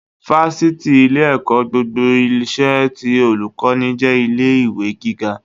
Fáṣítì, ilé-ẹ̀kọ́ gbogbo ìṣe, ti Olùkọ́ní, jẹ́ ilé ìwé gíga